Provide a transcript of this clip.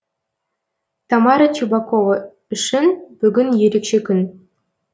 тамара чебакова үшін бүгін ерекше күн